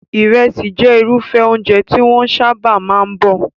Ìrẹsì jẹ́ irúfẹ́ oúnjẹ tí wọ́n sábà máa ń bọ̀.